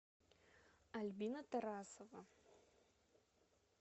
альбина тарасова